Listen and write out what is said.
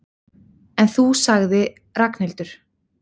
En þú sagði Ragnhildur.